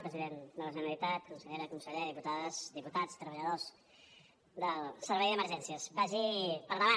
president de la generalitat consellera conseller diputades diputats treballadors del servei d’emergències vagi per davant